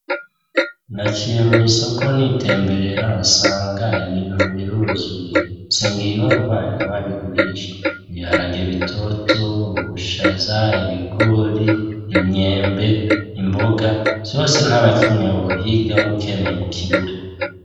Naciye mw'isoko nitemberera nsanga ibintu biruzuye. Nsengiyumva niwe abigurisha. Ibiharage bitoto, ubushaza, ibigori, imyembe, imboga, vyose ntanakimwe wohigamwo ukeneye ngo ukibure.